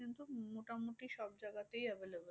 মোটামুটি সবজায়গাতেই available